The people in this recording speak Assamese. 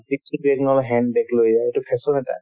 নহয় hand bag লৈ যোৱাতো fashion এটা